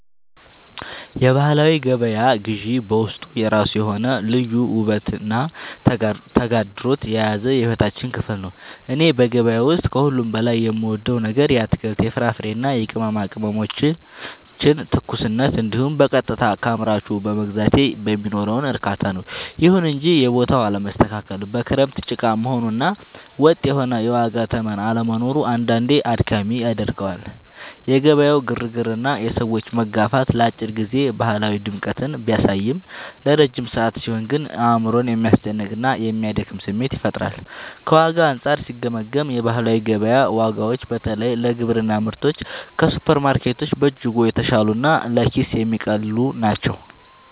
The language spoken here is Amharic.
የባህላዊ ገበያ ግዢ በውስጡ የራሱ የሆነ ልዩ ውበትና ተግዳሮት የያዘ የሕይወታችን ክፍል ነው። እኔ በገበያ ውስጥ ከሁሉ በላይ የምወደው ነገር የአትክልት፣ የፍራፍሬና የቅመማ ቅመሞችን ትኩስነት እንዲሁም በቀጥታ ከአምራቹ በመግዛቴ የሚኖረውን እርካታ ነው። ይሁን እንጂ የቦታው አለመስተካከል፣ በክረምት ጭቃ መሆኑ እና ወጥ የሆነ የዋጋ ተመን አለመኖሩ አንዳንዴ አድካሚ ያደርገዋል። የገበያው ግርግርና የሰዎች መጋፋት ለአጭር ጊዜ ባህላዊ ድምቀትን ቢያሳይም፣ ለረጅም ሰዓት ሲሆን ግን አእምሮን የሚያስጨንቅና የሚያደክም ስሜት ይፈጥራል። ከዋጋ አንጻር ሲገመገም፣ የባህላዊ ገበያ ዋጋዎች በተለይ ለግብርና ምርቶች ከሱፐርማርኬቶች በእጅጉ የተሻሉና ለኪስ የሚቀልሉ ናቸው።